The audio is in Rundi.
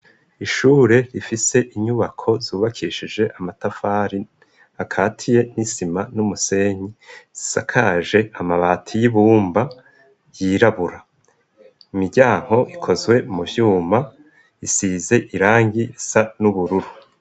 Ishure rifise inyubako zubakishije amatafari akatiye n'isima n'umusenyi zisakaje amabati y'ibumba yirabura miryanko ikozwe mu vyuma isize irangi sa n'ubururu.